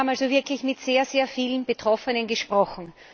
Wir haben also wirklich mit sehr, sehr vielen Betroffenen gesprochen.